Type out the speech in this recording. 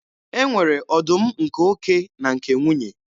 E nwere ọdụm nke oke na nke nwunye.